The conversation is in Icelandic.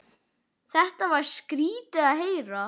Þetta var skrýtið að heyra.